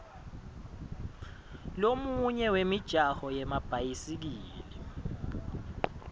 lomunye wemijaho yemabhayisikili